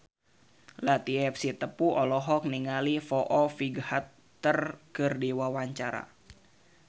Latief Sitepu olohok ningali Foo Fighter keur diwawancara